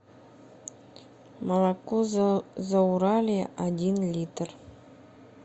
молоко зауралье один литр